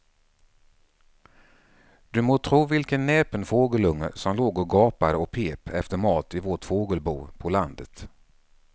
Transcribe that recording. Du må tro vilken näpen fågelunge som låg och gapade och pep efter mat i vårt fågelbo på landet.